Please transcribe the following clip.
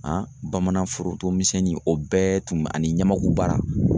bamananforotonmisɛnnin o bɛɛ tun bɛ ani ɲamakubaara.